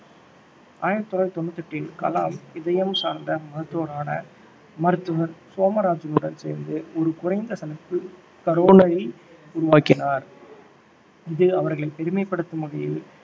ஆயிரத்தி தொள்ளாயிரத்தி தொண்ணூற்று எட்டில் கலாம் இதயம் சார்ந்த மருத்துவரான மருத்துவர் சோமராசுடன் சேர்ந்து ஒரு குறைந்த செலவு coronary உருவாக்கினார் இது அவர்களை பெருமைபடுத்தும் வகையில்